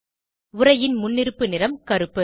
உரையின் முன்னிருப்பு நிறம் கருப்பு